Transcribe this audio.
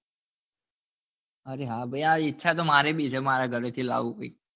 અરે હા ઇછ તો મારે બી છે મારા ઘરે થી લાવું ભાઈ